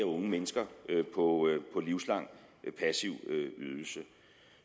unge mennesker på livslang passiv ydelse